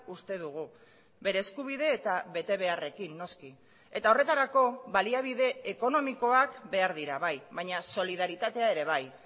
uste dugu bere eskubide eta betebeharrekin noski eta horretarako baliabide ekonomikoak behar dira bai baina solidaritatea ere bai